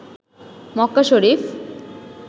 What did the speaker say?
Mecca Sharif